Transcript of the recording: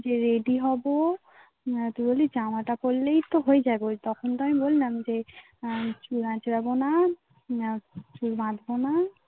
বললাম যে রেডি হবো. ন্যাচারালি জামাটা পড়লেই তো হয়ে যাবেই. তখন তো আমি বললাম যে আর চুল আঁচড়াবো না. না কেউ বাঁধবো না